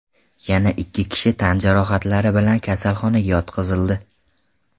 Yana ikki kishi tan jarohatlari bilan kasalxonaga yotqizildi.